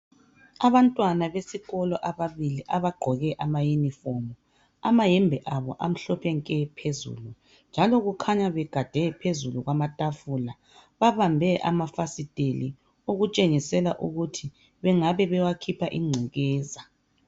Abantwana besikolo ababili abagqoke ama uniform amayembe abo amhlophe nke phezulu njalo kukhanya begade phezulu kwamatafula babambe amafasitela okutshengisela ukuthi bengabe bewakhipha ingcekeza